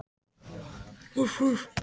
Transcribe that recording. Gríðarhá eldfjöll bera þess merki.